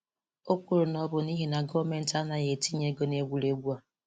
O kwuru na ọ bụ n'ihi na gọọmentị anaghị etinye ego na egwuregwu a.